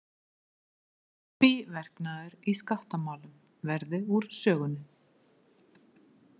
Tvíverknaður í skattamálum verði úr sögunni